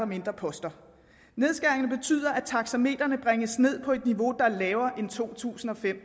mindre poster nedskæringen betyder at taksametrene bringes ned på et niveau der er lavere end to tusind og fem